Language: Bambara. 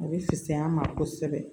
A bɛ fisaya an ma kosɛbɛ